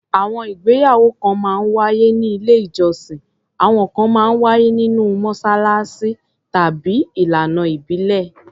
Àwọn ìgbéyàwó kan máa ń wáyé ní ilé-ìjọsìn, àwọn kan máa ń wáyé nínú mọ́ṣáláṣí, tàbí ìlànà ìbílẹ̀.